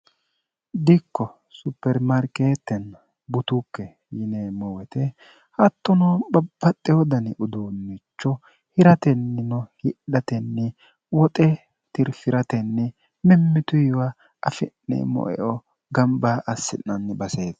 dikko supermarkeetteni butukke yinemmowete hattono babbaxxe hodani uduunnicho hiratennino hidhatenni woxe tirfi'ratenni mimmitu iwa afi'ne moeo gamba assi'nanni baseete